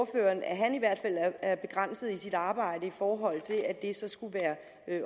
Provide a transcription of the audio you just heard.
at han i hvert fald er begrænset i sit arbejde i forhold til at de så skulle være